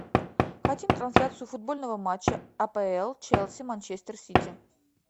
хотим трансляцию футбольного матча апл челси манчестер сити